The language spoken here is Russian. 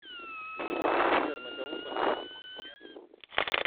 сбер на кого подписан в инсте